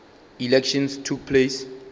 elections took place